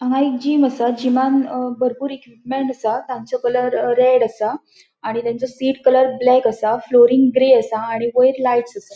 हांगा एक जिम असा जिमान बरपुर इक्विपमेंट्स असा तांचो कलर रेड असा आणि तानसों सीट कलर ब्लॅक असा फ्लोरिंग ग्रे असा आणि वयर लाइट्स असा.